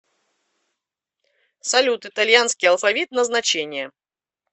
салют итальянский алфавит назначение